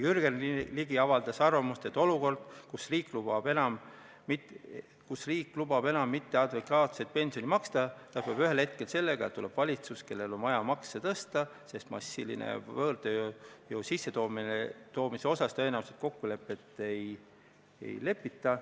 Jürgen Ligi avaldas arvamust, et olukord, kus riik lubab enam mitteadekvaatset pensioni maksta, lõpeb ühel hetkel sellega, et tuleb valitsus, kellel on vaja makse tõsta, sest massilise võõrtööjõu sissetoomises tõenäoliselt kokku ei lepita.